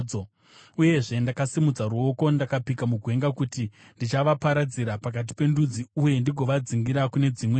Uyezve, ndakasimudza ruoko, ndikapika mugwenga kuti ndichavaparadzira pakati pendudzi uye ndigovadzingira kune dzimwe nyika,